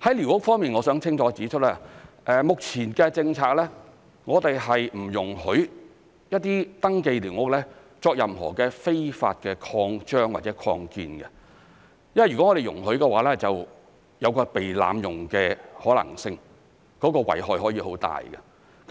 在寮屋方面，我想清楚指出，根據目前的政策，我們不容許一些登記的寮屋作任何非法的擴張或擴建，因為若我們容許的話，就有被濫用的可能性，遺害可以很大，